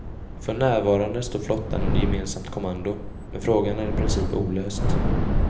För närvarande står flottan under gemensamt kommando, men frågan är i princip olöst.